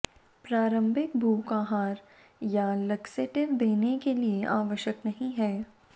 प्रारंभिक भूख आहार या लक्सेटिव देने के लिए आवश्यक नहीं है